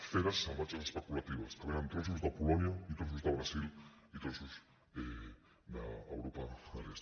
feres salvatges especulatives que venen trossos de polònia i trossos del brasil i trossos d’europa de l’est